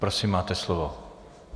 Prosím, máte slovo.